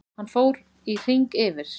Hann fór í hring yfir